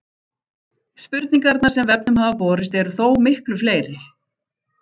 Spurningarnar sem vefnum hafa borist eru þó miklu fleiri.